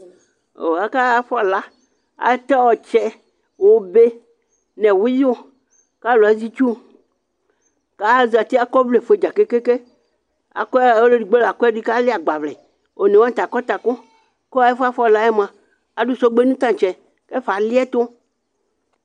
O! akafɔla, atɛ ɔtsɛ ,obe nʋ ɛwʋɩyʋ, kʋ alʋ azɛ itsu, azati akɔ ɔvlɛ fue dza keŋke, ɔlʋ edigbo l' akɔ ɛdɩ kʋ afɔlɩ agbavlɛ ;one wanɩ ta akɔ takʋKʋ ɛfʋɛ afɔ la yɛ mʋa ,adʋ sɔgbe nʋ tatsɛ kʋ ɛfɛ alɩɛtʋ